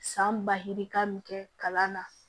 San basi bi kan min kɛ kalan na